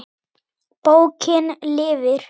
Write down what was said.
Bókin lifir!